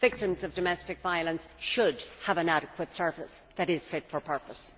Victims of domestic violence should have an adequate service that is fit for purpose.